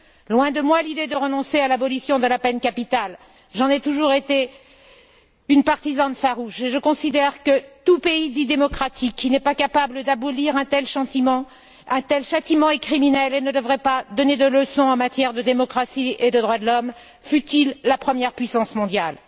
Loin de moi l'idée de renoncer à l'abolition de la peine capitale, j'en ai toujours été une partisane farouche et je considère que tout pays dit démocratique qui n'est pas capable d'abolir un tel châtiment est criminel et ne devrait pas donner de leçon en matière de démocratie et de droits de l'homme, fût il la première puissance mondiale.